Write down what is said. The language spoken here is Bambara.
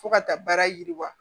Fo ka taa baara yiriwa